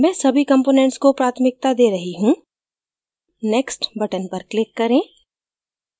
मैं सभी components को प्राथमिकता दे रही हूँ next button पर click करें